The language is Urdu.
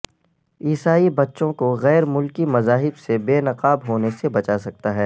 عیسائ بچوں کو غیر ملکی مذاہب سے بے نقاب ہونے سے بچا سکتا ہے